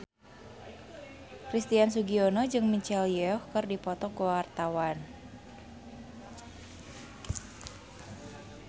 Christian Sugiono jeung Michelle Yeoh keur dipoto ku wartawan